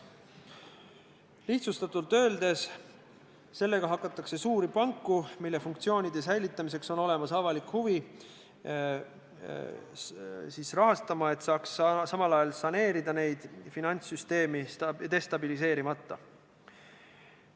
Lihtsustatult öeldes, sellega hakatakse suuri panku, mille funktsioonide säilitamiseks on olemas avalik huvi, rahastama, et saaks samal ajal saneerida neid finantssüsteemi destabiliseerimata.